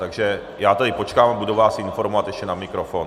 Takže já tedy počkám a budu vás informovat ještě na mikrofon.